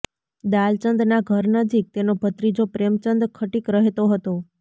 દાલચંદના ઘર નજીક તેનો ભત્રીજો પ્રેમચંદ ખટીક રહેતો હતો